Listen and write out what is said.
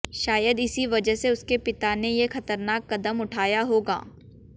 शायद इसी वजह से उसके पिता ने ये खतरनाक कदम उठाया होगा